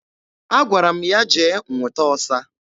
Agwara m ya jee nwụta ọsa